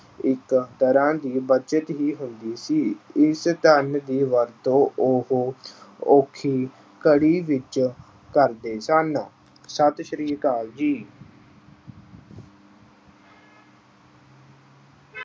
ਇਕ ਤਰ੍ਹਾਂ ਦੀ ਬਚਤ ਹੀ ਹੁੰਦੀ ਸੀ। ਇਸ ਧਨ ਦੀ ਵਰਤੋਂ ਉਹ ਔਖੀ ਘੜੀ ਵਿੱਚ ਕਰਦੇ ਸਨ। ਸਤਿ ਸ੍ਰੀ ਅਕਾਲ ਜੀ।